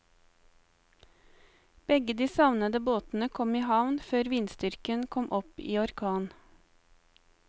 Begge de savnede båtene kom i havn før vindstyrken kom opp i orkan.